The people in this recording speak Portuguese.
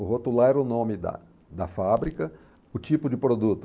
O rotular era o nome da da fábrica, o tipo de produto.